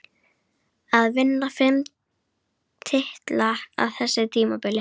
Að vinna fimm titla á þessu tímabili?